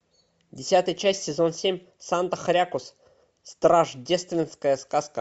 десятая часть сезон семь санта хрякус страшдественская сказка